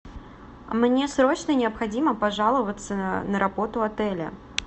мне срочно необходимо пожаловаться на работу отеля